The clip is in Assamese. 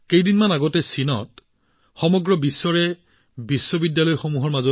কিছুদিন পূৰ্বে চীনত অনুষ্ঠিত হৈছিল বিশ্ব বিশ্ববিদ্যালয় গেমছ